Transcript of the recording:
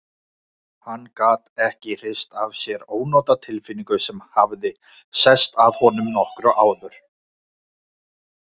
Hann gat ekki hrist af sér ónotatilfinningu sem hafði sest að honum nokkru áður.